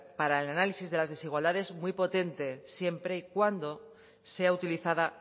para el análisis de las desigualdades muy potente siempre y cuando sea utilizada